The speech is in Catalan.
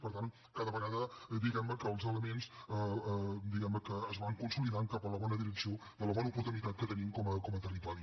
per tant cada vegada diguem ne els elements es van consolidant cap a la bona direcció de la bona oportunitat que tenim com a territori